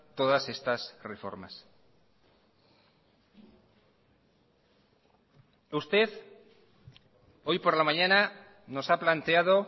todas estas reformas usted hoy por la mañana nos ha planteado